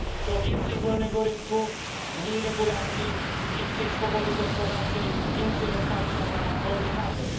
To więcej wolnego rynku, mniej regulacji, więcej swobody gospodarczej, więcej otwarcia na wolny handel.